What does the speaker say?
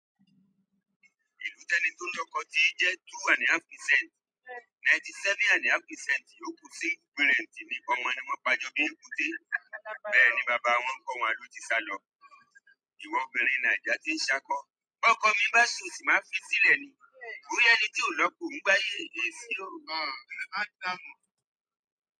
Ìlú tẹni tó ń lọ́kọ ti jẹ́ two and a half percent, ninety seven and a half percent yóò kú sí ìgbérèǹtì nípa ọmọ ní wọ́n pa jọ bí èkúté. Bẹ́ẹ̀ ni bàbá wọn kọ́ wọn ló ti sálọ. Ìwọ ọmọbìnrin Naija tí ń ṣákọ. Kọ́kọ mí bá cheat máa fi sílẹ̀ ni. O rí ẹni tí ò lọ́kọ ò ń gbáyé.